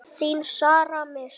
Þín Sara Mist.